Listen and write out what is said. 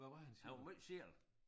Han var måj selv